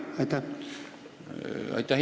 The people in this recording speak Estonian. Aitäh!